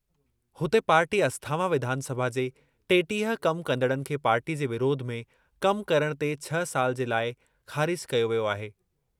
हुते, पार्टी अस्थावां विधानसभा जे टेटीह कम कंदड़नि खे पार्टी जे विरोध में कम करणु ते छह साल जे लाइ ख़ारिज कयो वियो आहे।